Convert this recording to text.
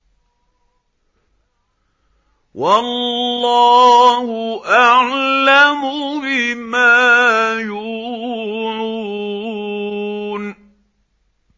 وَاللَّهُ أَعْلَمُ بِمَا يُوعُونَ